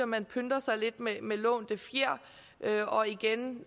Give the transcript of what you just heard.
man pynter sig med lånte fjer og igen